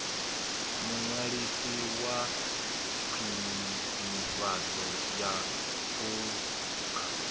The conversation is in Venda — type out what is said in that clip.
muṅwalisi wa khwinifhadzo ya phukha